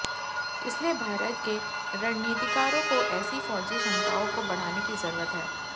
इसीलिए भारत के रणनीतिकारों को ऐसी फ़ौजी क्षमताओं को बढ़ाने की जरूरत है